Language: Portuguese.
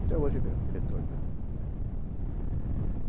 Até hoje ele é diretor da né